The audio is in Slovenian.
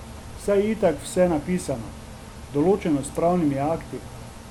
Saj je itak vse napisano, določeno s pravnimi akti...